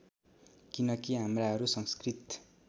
किनकि हाम्राहरू संस्कृत